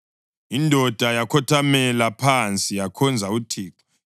Indoda yakhothamela phansi yakhonza uThixo,